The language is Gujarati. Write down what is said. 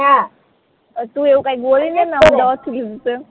અ ટુ એવું કાંઇક બોલી